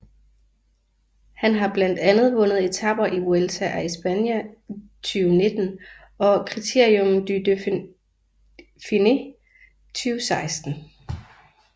Han har blandt andet vundet etaper i Vuelta a España 2019 og Critérium du Dauphiné 2016